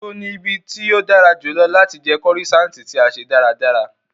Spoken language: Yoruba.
Nibo ni ibi ti o dara julọ lati jẹ croissant ti a se daradara?